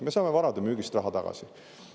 Me saame varade müügist raha tagasi.